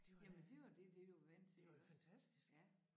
Det var det var da fantastisk